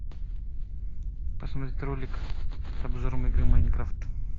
посмотреть ролик с обзором игры майнкрафт